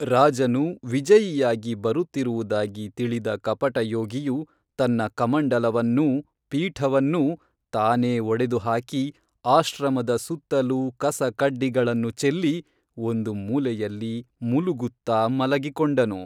ರಾಜನು ವಿಜಯಿಯಾಗಿ ಬರುತ್ತಿರುವುದಾಗಿ ತಿಳಿದ ಕಪಟಯೋಗಿಯು ತನ್ನ ಕಮಂಡಲವನ್ನೂ ಪೀಠವನ್ನೂ ತಾನೇ ಒಡೆದು ಹಾಕಿ ಆಶ್ರಮದ ಸುತ್ತಲೂ ಕಸ ಕಡ್ಡಿಗಳನ್ನು ಚೆಲ್ಲಿ ಒಂದು ಮೂಲೆಯಲ್ಲಿ ಮುಲುಗುತ್ತಾ ಮಲಗಿ ಕೊಂಡನು